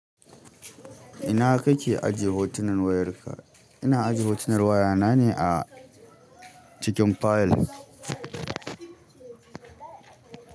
Ina kake ajiye hotunan wayarka? Ina ajiye hotunan wayana ne a cikin file.